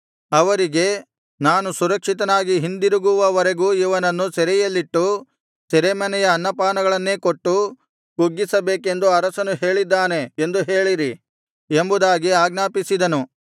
ಅವರಿಗೆ ನಾನು ಸುರಕ್ಷಿತನಾಗಿ ಹಿಂದಿರುಗುವವರೆಗೂ ಇವನನ್ನು ಸೆರೆಯಲ್ಲಿಟ್ಟು ಸೆರೆಮನೆಯ ಅನ್ನಪಾನಗಳನ್ನೇ ಕೊಟ್ಟು ಕುಗ್ಗಿಸಬೇಕೆಂದು ಅರಸನು ಹೇಳಿದ್ದಾನೆ ಎಂದು ಹೇಳಿರಿ ಎಂಬುದಾಗಿ ಆಜ್ಞಾಪಿಸಿದನು